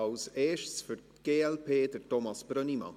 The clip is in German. Als Erstes für die glp, Thomas Brönnimann.